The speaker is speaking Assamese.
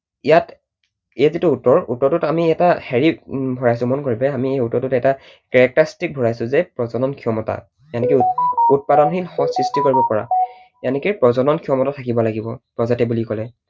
ইয়াত এই যিটো উত্তৰ, উত্তৰটোত আমি এটা হেৰি ভৰাইছো মন কৰিবা, আমি উত্তৰটোত এটা characteristic ভৰাইছো যে প্ৰজনন ক্ষমতা উৎপাদনশীল সঁচ সৃষ্টি কৰিব পৰা প্ৰজনন ক্ষমতা থাকিব লাগিব প্ৰজাতি বুলি কলে।